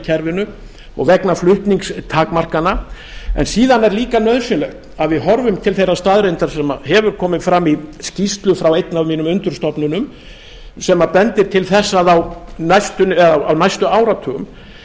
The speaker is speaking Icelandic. kerfinu og vegna flutningstakmarkana en síðan er líka nauðsynlegt að við horfum til þeirrar staðreyndar sem hefur komið fram í skýrslu frá einni af mínum undirstofnunum sem bendir til þess að á næstu áratugum